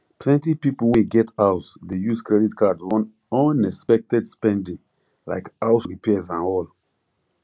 plenty people wey get house dey use credit card run unexpected spending like house repairs and all